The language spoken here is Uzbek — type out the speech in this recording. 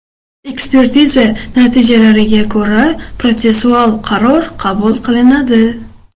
Ekspertiza natijalariga ko‘ra protsessual qaror qabul qilinadi.